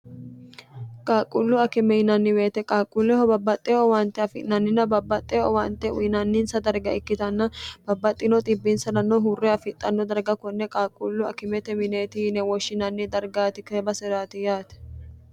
qaaqquullu akime inanniweete qaaqquulleho babbaxxe owaante afi'nannina babbaxxe owaante uyinanninsa darga ikkitanna babbaxxino xibbiinsnnno huurre afixxanno darga konne qaaqquullu akimete mineeti yine woshshinanni dargaati keba se'raati yaate